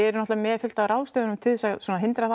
náttúrulega með fullt af ráðstöfunum til þess að hindra það